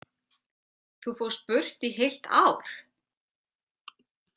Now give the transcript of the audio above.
Þú fórst burt í heilt ár?